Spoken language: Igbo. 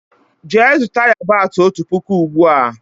Jee zuta yabasi ọtu pụkụ ugbua!!!